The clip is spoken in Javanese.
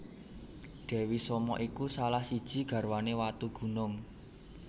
Dewi Soma iku salah siji garwane Watugunung